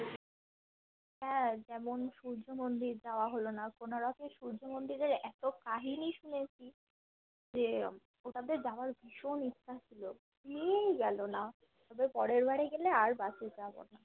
হ্যাঁ যেমন সূর্য মন্দির যাওয়া হলো না কোনারকের সূর্য মন্দিরের এত কাহিনী শুনেছি যে জেতাতে যাওয়ার ভীষণ ইচ্ছা ছিল নিয়েই গেলো না যে পরের বরে গেলে আর bus এ যাবো না